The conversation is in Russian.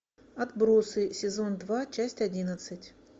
отбросы сезон два часть одиннадцать